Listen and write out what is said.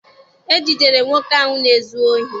E jidere nwoke ahụ na-ezu ohi